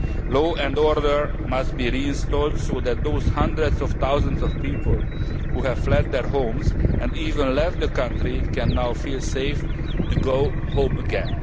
Law and order must be restored so that those hundreds of thousands of people who have fled their homes and even left the country can now feel safe to go home again.